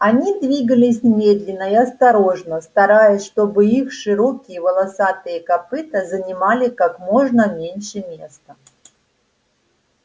они двигались медленно и осторожно стараясь чтобы их широкие волосатые копыта занимали как можно меньше места